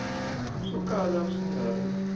swo kala swi nga ri